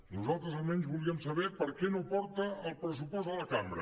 nosaltres almenys volíem saber per què no porta el pressupost a la cambra